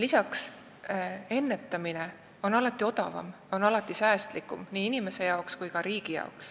Pealegi on ennetamine alati odavam ja säästlikum nii inimesele kui ka riigile.